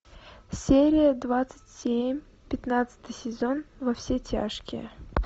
серия двадцать семь пятнадцатый сезон во все тяжкие